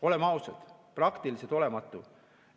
Oleme ausad, praktiliselt olematu!